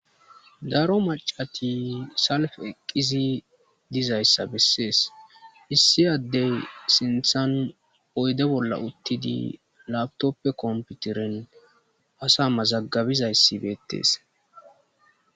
Daro macati salf eqqisi dizayssa bessees issi addey sinthan oyde bolla uttidi latoppe komputeren asa mazagabizayssibeettees.